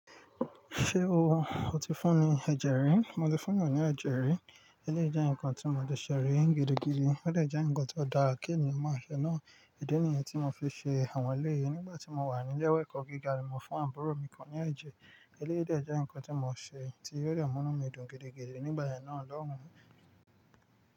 Ṣé o, o ti fún ní ẹ̀jẹ̀ rí? Mo ti fúnyan ní ẹ̀jẹ̀ rí, eléyìí jẹ́ nǹkan tí mo ti ṣẹ̀ rí gidigidi, ó de je nǹkan tó dára kí ènìyàn máa ṣẹ̀ náà, idi nìyẹn tí mo fi ṣẹ àwọn eleyi Nígbà tí mo wà nílé ìwé ẹ̀kọ́ gíga ni mo fún àbúrò mi kan ní ẹ̀jẹ̀, eléyìí de je nǹkan tí mo ṣẹ, tí ó dà mú mí dùn gidigidi nígbà náà lọ́hùn-ún.